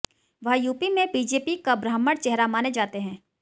वह यूपी में बीजेपी का ब्राह्मण चेहरा माने जाते हैं